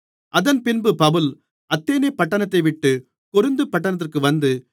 அதன்பின்பு பவுல் அத்தேனே பட்டணத்தைவிட்டு கொரிந்து பட்டணத்திற்கு வந்து